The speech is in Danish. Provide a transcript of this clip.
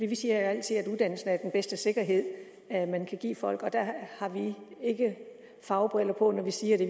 vi siger altid at uddannelsen er den bedste sikkerhed man kan give folk og der har vi ikke fagbriller på når vi siger det